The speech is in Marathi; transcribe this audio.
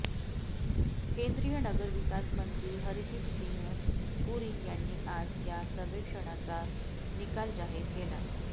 केंद्रीय नगर विकास मंत्री हरदीपसिंह पुरी यांनी आज या सर्वेक्षणाचा निकाल जाहीर केला